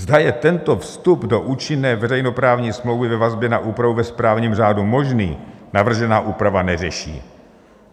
Zda je tento vstup do účinné veřejnoprávní smlouvy ve vazbě na úpravu ve správním řádu možný, navržená úprava neřeší.